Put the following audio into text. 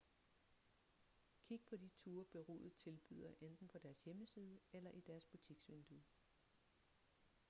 kig på de ture bureauet tilbyder enten på deres hjemmeside eller i deres butiksvindue